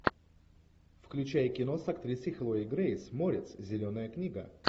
включай кино с актрисой хлоя грейс морец зеленая книга